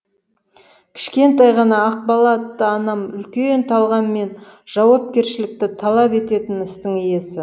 кішкентай ғана ақбала атты анам үлкен талғам мен жауапкершілікті талап ететін істің иесі